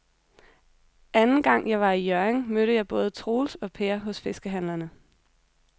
Anden gang jeg var i Hjørring, mødte jeg både Troels og Per hos fiskehandlerne.